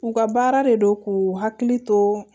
U ka baara de don k'u hakili to